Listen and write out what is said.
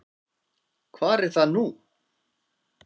Hvar er það nú?